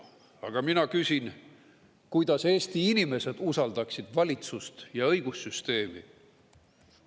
Aga mina küsin, kuidas Eesti inimesed usaldaksid valitsust ja õigussüsteemi.